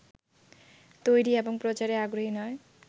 তৈরী এবং প্রচারে আগ্রহী নয়